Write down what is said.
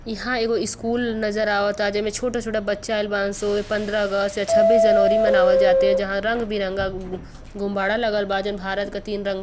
इहा एगो स्कूल नज़र आवता जेमे छोटा-छोटा बच्चा आइल बाड़न सन। उहे पंद्रह अगस्त या छब्बीस जनवरी मनावल जा तिया। जहां रंगबिरंगा गु गुब्बारा लागल बा। जउन भारत क तीन रंग --